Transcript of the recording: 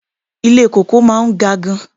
Ilé kòkó máa ga gan-an.